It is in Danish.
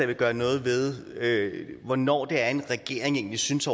vil gøre noget ved hvornår det er at en regering egentlig synes